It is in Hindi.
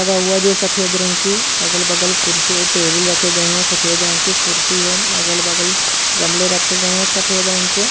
लगा हुआ जो सफेद रंग की अगल बगल कुर्सी और टेबल रखे गए है सफेद रंग की कुर्सी है अगल बगल गमले रखे गया सफेद रंग के।